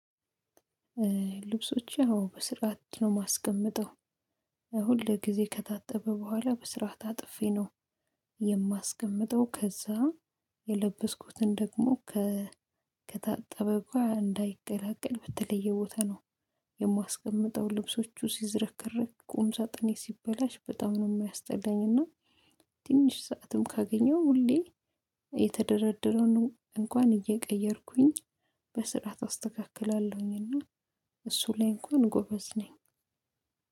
ልብሶቼ አዎ በስርዓት ነው የማስቀምጠው ሁል ጊዜ ከታጠበ በኋላ በስርዓት ታጥፌ ነው የማስቀምጠው። ከዛ የለበስኩትን ደግሞ ከ ከታ እንዳይቀላቀል በተለየ ቦታ ነው የማስቀምጠው። ልብሶቹ ሲዝረክረኩ ቁም ሳጥኔ ሲበላሽ በጣም ነው የሚያስጠላኝ እና ትንሽ ሰዓትም ካገኘው ሁሌ የተደረደረውን እንኳን እየቀየርኩኝ በስርዓት አስተካክላለሁኝና። እሱን ላይ እንኳን ጎበዝ ነኝ።